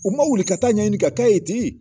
U ma wuli ka taa ɲɛɲini ka k'a ye ten